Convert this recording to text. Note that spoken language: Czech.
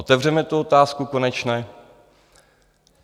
Otevřeme tu otázku konečně?